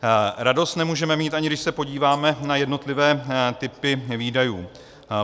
Radost nemůžeme mít, ani když se podíváme na jednotlivé typy výdajů.